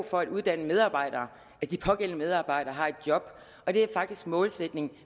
for at uddanne medarbejdere er de pågældende medarbejdere har et job og det er faktisk målsætningen